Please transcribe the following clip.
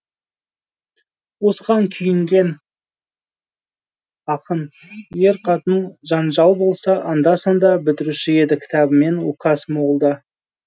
осыған күйінген ақын ер қатын жанжал болса анда санда бітіруші еді кітабымен указ молда